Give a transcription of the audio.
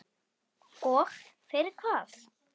Og fyrir hvað?